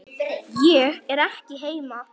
Ég er ekki heima